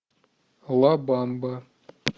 лабамба